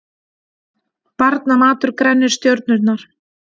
Barnamatur grennir stjörnurnar